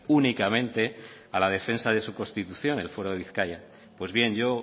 únicamente a la defensa de su constitución el fuero de bizkaia pues bien yo